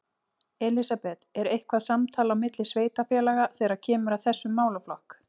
Elísabet: Er eitthvað samtal á milli sveitarfélaga þegar kemur að þessum málaflokk?